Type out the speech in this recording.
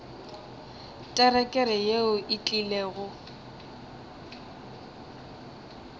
terekere yeo e tlile go